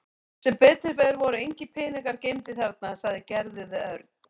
Sem betur fer voru engir peningar geymdir þarna sagði Gerður við Örn.